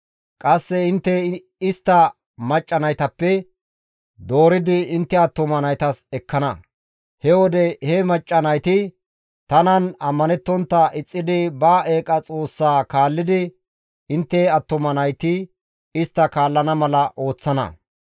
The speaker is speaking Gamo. Qasse intte istta macca naytappe dooridi intte attuma naytas ekkana; he wode he macca nayti tanan ammanettontta ixxidi ba eeqa xoossaa kaallidi intte attuma nayti istta kallana mala ooththana.